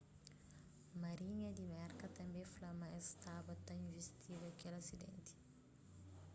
marinha di merka tanbê fla ma es staba ta invistiga kel asidenti